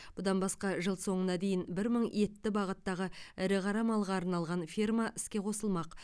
бұдан басқа жыл соңына дейін бір мың етті бағыттағы ірі қара малға арналған ферма іске қосылмақ